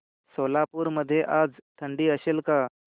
सोलापूर मध्ये आज थंडी असेल का